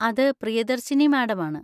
അത് പ്രിയദർശിനി മാഡം ആണ്.